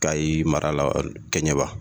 Kayi marala kɛɲɛba